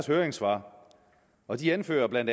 høringssvar og de anfører bla at